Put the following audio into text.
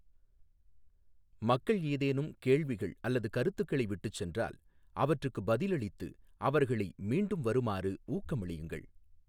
மக்கள் ஏதேனும் கேள்விகள் அல்லது கருத்துக்களை விட்டுச் சென்றால் அவற்றுக்குப் பதிலளித்து அவர்களை மீண்டும் வருமாறு ஊக்கமளியுங்கள்.